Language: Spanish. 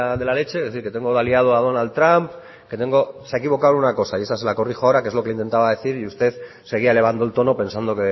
de la leche es decir que tengo de aliado a donald trump que tengo se ha equivocado en una cosa y esa se la corrijo ahora que es lo que intentaba decir y usted seguía elevando el tono pensando